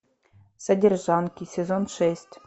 содержанки сезон шесть